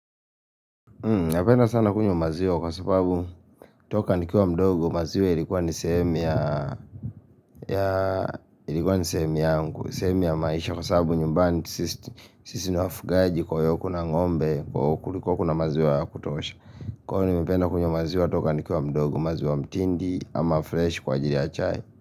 Napenda sana kunywa maziwa kwa sababu kutoka nikiwa mdogo maziwa ilikuwa ni sehemu ya ya ilikuwa ni sehemu yangu, ni sehemu ya maisha kwa sababu nyumbani sisi ni wafugaji kwa yo kuna ng'ombe, kwa hivyo kulikuwa kuna maziwe ya kutosha Kwa nimependa kunywa maziwa kutoka nikiwa mdogo maziwa mtindi ama fresh kwa ajirl ya chai.